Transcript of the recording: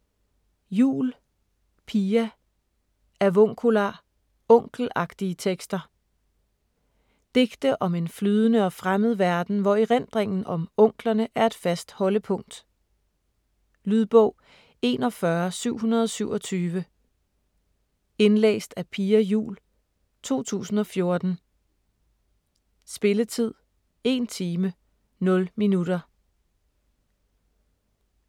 Juul, Pia: Avuncular: onkelagtige tekster Digte om en flydende og fremmed verden, hvor erindringen om "onklerne" er et fast holdepunkt. Lydbog 41727 Indlæst af Pia Juul, 2014. Spilletid: 1 time, 0 minutter.